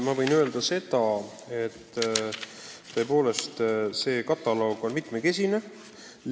Ma võin öelda, et tõepoolest see nn kataloog on mitmekesine.